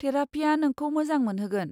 थेरापिया नोंखौ मोजां मोनहोगोन।